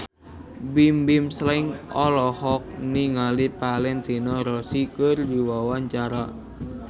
Bimbim Slank olohok ningali Valentino Rossi keur diwawancara